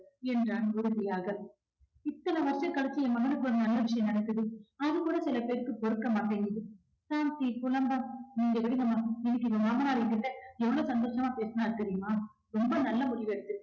என்றான் உறுதியாக இத்தன வருஷம் கழிச்சு என் மகனுக்கு ஒரு நல்ல விஷயம் நடக்குது அது கூட சில பேருக்கு பொறுக்க மாட்டேங்குது சாந்தி புலம்ப நீங்க விடுங்கம்மா இன்னைக்கு என் மாமனாரு ஏன்கிட்ட எவ்வளவு சந்தோஷமா பேசினாரு தெரியுமா. ரொம்ப நல்ல முடிவு எடுத்துருக்கீங்க